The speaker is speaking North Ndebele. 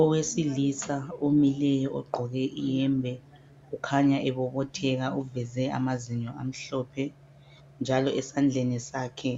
Owesilisa omileyo ogqoke iyembe kukhanya ebobotheka uveze amazinyo amhlophe njalo esandleni sakhe